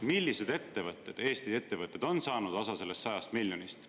Millised ettevõtted, Eesti ettevõtted, on saanud osa sellest 100 miljonist eurost?